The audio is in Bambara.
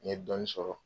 N ye dɔɔnin sɔrɔ